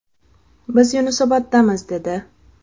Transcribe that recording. Biz Yunusoboddamiz’, dedi.